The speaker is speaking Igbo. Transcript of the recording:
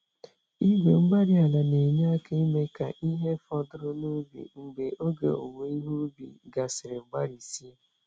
Igwe-mgbárí-ala na-enye aka ime ka ihe fọdụrụ n'ubi mgbe oge owuwe ihe ubi gasịrị gbarisie.